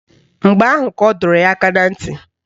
Mgbe ahụ ka ọ dọrọ ya aka na ntị